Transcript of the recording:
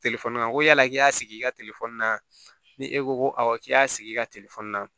n ko yala k'i y'a sigi i ka na ni e ko ko awɔ k'i y'a sigi i ka na